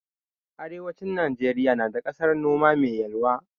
Arewacin Najeriya na da ƙasan noma mai yalwa.